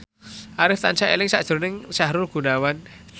Arif tansah eling sakjroning Sahrul Gunawan